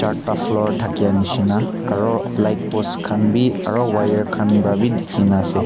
ekta floor thaki nisna aru light post khan bhi aru wire khan para bhi dekhi kina ase.